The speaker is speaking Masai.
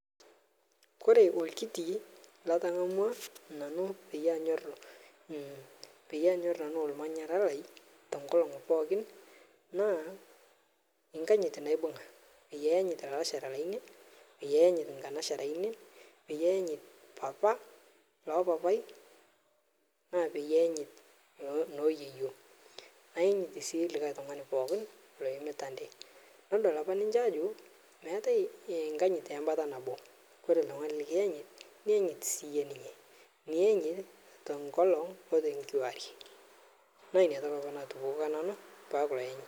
Kore olkiti latangamua peyie anyorr nanu ormanyara lai te nkolong pookin, naa nkajit naibunga peyie ayanyit lalashera lainei peyie ayanyit nkanashera aainei, peyie ayanyit papa loo papai , naa payanyit noo yeyio nayanyit sii like tungani pookin, nodol apa ninche ajo enkanyit naa nakata nabo ore oltungani likiyanyit niyanyit siiyie ninye, niyanyit tokolong ote kuwarie naa inia toki apa naatupikia nanu paaku